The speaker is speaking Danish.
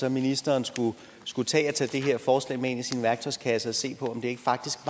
at ministeren skulle tage det her forslag med i sin værktøjskasse og se på om det faktisk